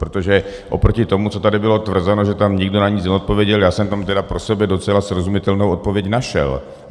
Protože oproti tomu, co tady bylo tvrzeno, že tam nikdo na nic neodpověděl, já jsem tam tedy pro sebe docela srozumitelnou odpověď našel.